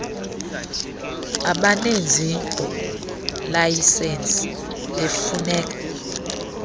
abanezi layisensi befuneka